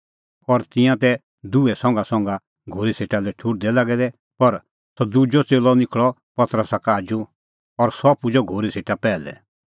और तिंयां तै दुहै संघासंघा घोरी सेटा लै ठुहर्दै लागै दै पर सह दुजअ च़ेल्लअ निखल़अ पतरसा का आजू और सह पुजअ घोरी सेटा पैहलै